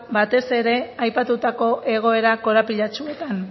batez ere aipatutako egoera korapilatsuetan